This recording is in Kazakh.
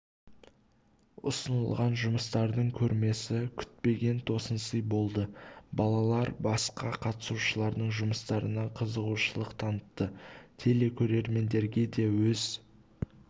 ұсынылған жұмыстардың көрмесі күтпеген тосын сый болды балалар басқа қатысушылардың жұмыстарына қызығушылық танытты телекөрермендерге өз